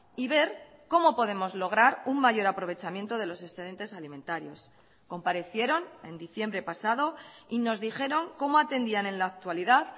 y ver cómo podemos lograr un mayor aprovechamiento de los excedentes alimentarios comparecieron en diciembre pasado y nos dijeron cómo atendían en la actualidad